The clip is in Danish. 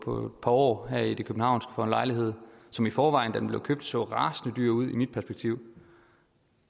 på et par år her i det københavnske for en lejlighed som i forvejen da den blev købt så rasende dyr ud i mit perspektiv